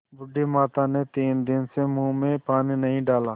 बूढ़ी माता ने तीन दिन से मुँह में पानी नहीं डाला